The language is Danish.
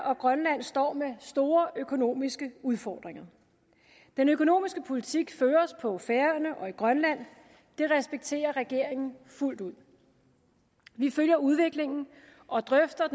og grønland står med store økonomiske udfordringer den økonomiske politik føres på færøerne og i grønland det respekterer regeringen fuldt ud vi følger udviklingen og drøfter